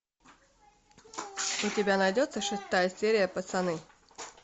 у тебя найдется шестая серия пацаны